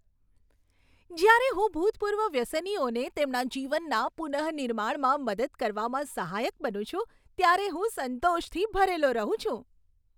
જ્યારે હું ભૂતપૂર્વ વ્યસનીઓને તેમના જીવનના પુનઃનિર્માણમાં મદદ કરવામાં સહાયક બનું છું, ત્યારે હું સંતોષથી ભરેલો રહું છું.